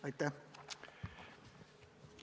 Aitäh!